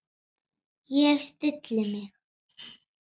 Ég stilli mig.